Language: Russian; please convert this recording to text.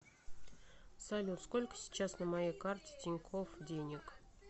салют сколько сейчас на моей карте тинькофф денег